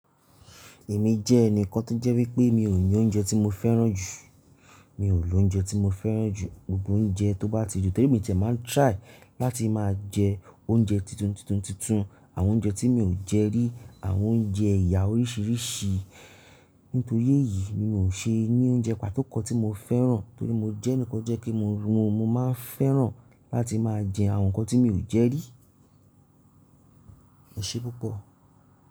Èmi jẹ́ ẹnìkan tó jẹ́ wípé mi ò ní oúnjẹ tí mo fẹ́ràn jù. Mi ò lò oúnjẹ tí mo fẹ́ràn jù. Gbogbo oúnjẹ tó bá ti dùn, torí èmi ti ẹ̀ máa ń try láti máa jẹ oúnjẹ titun, titun, titun, àwọn oúnjẹ tí mi ò jẹ rí, àwọn oúnjẹ ẹ̀yà oríṣìíríṣìí. Nítorí èyí mi ò ṣe ní oúnjẹ pàtó kan tí mo fẹ́ràn, torí mo jẹ́ ẹnìkan jẹ́ kí mo rún, mo máa ń fẹ́ràn láti máa jẹ àwọn nǹkan tí mi ò jẹ rí. Ẹṣé pupọ̀